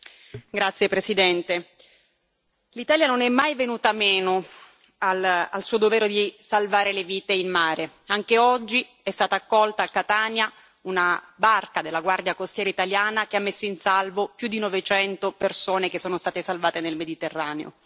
Signor Presidente, onorevoli colleghi, l'Italia non è mai venuta meno al suo dovere di salvare le vite in mare. Anche oggi è stata accolta a Catania una barca della Guardia Costiera italiana che ha messo in salvo più di 900 persone che sono state salvate nel Mediterraneo.